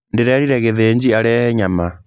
Ndĩrerire Githinji arehe nyama.